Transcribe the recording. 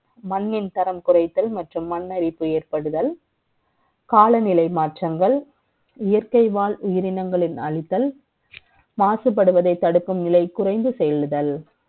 மண்ணின் தரம் குறை த்தல் மற்றும் மண்ணரிப்பு ஏற்படுதல் காலநிலை மாற்றங்கள், இயற்கை வாழ் உயிரினங்களின் அழித்தல், மாசுபடுவதை தடுக்கும் நிலை, குறை ந்து செ யல்படுதல்